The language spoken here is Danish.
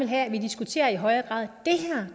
have vi diskuterer i højere grad